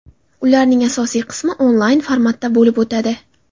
Ularning asosiy qismi onlayn formatda bo‘lib o‘tadi.